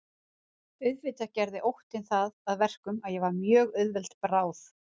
Auðvitað gerði óttinn það að verkum að ég var mjög auðveld bráð.